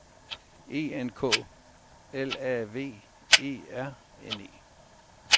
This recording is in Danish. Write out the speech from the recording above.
E N K L A V E R N E